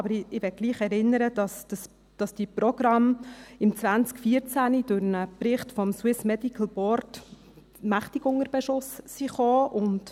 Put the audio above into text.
Aber ich möchte doch daran erinnern, dass die Programme im 2014 durch einen Bericht des Swiss Medical Board mächtig unter Beschuss kamen.